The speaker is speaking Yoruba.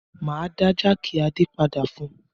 Máa dá jákì Adé padà fún un.